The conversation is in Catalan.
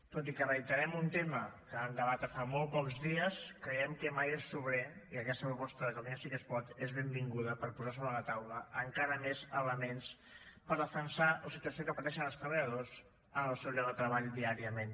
tot i que reiterem un tema que vam debatre fa molt pocs dies creiem que mai és sobrer i aquesta proposta de catalunya sí que es pot és benvinguda per posar sobre la taula encara més elements per defensar la situació que pateixen els treballadors en el seu lloc de treball diàriament